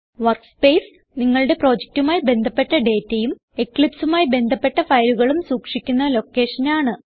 workspace നിങ്ങളുടെ പ്രൊജക്റ്റുമായി ബന്ധപ്പെട്ട ഡേറ്റയും eclipseമായി ബന്ധപ്പെട്ട ഫയലുകളും സൂക്ഷിക്കുന്ന ലൊക്കേഷനാണ്